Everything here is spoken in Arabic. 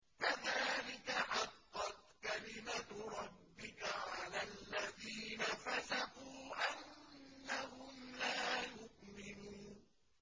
كَذَٰلِكَ حَقَّتْ كَلِمَتُ رَبِّكَ عَلَى الَّذِينَ فَسَقُوا أَنَّهُمْ لَا يُؤْمِنُونَ